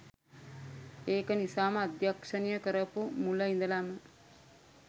ඒක නිසාම අධ්‍යක්ෂණය කරපු මුල ඉදලම